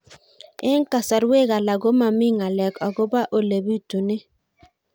Eng' kasarwek alak ko mami ng'alek akopo ole pitunee